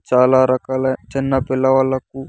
చాలా రకాల చిన్న పిల్లవాళ్ళకు.